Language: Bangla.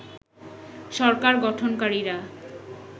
সরকার গঠনকারীরা